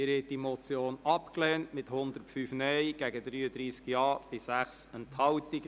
Sie haben die Motion abgelehnt mit 105 Nein- gegen 33 Ja- bei 6 Enthaltungen.